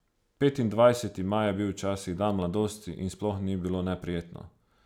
Petindvajseti maj je bil včasih dan mladosti in sploh ni bilo neprijetno.